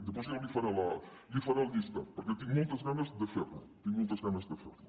després jo li faré el llistat perquè tinc moltes ganes de fer lo tinc moltes ganes de fer lo